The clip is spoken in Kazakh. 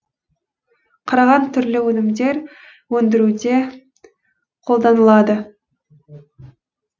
қараған түрлі өнімдер өндіруде қолданылады